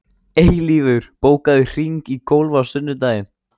Eilífur, bókaðu hring í golf á sunnudaginn.